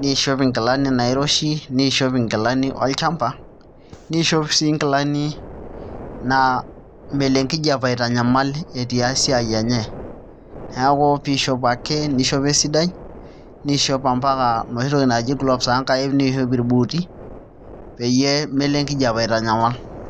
niishop nkilani nairoshi niishop nkilani olchamba niishop sii nkilani naa melo enkijiape aitanyamal etii esiai enye, neeeku piishopo esidai niishop mpaka inoshi tokitin naaji gloves oonkaik niishop irbuuti pee melo enkijiape aitanyamal.